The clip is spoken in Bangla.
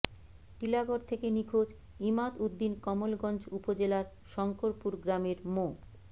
টিলাগড় থেকে নিখোঁজ ইমাদ উদ্দিন কমলগঞ্জ উপজেলার শংকরপুর গ্রামের মো